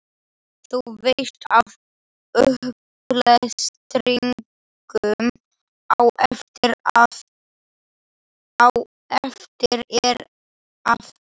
Þú veist af upplestrinum á eftir, er það ekki?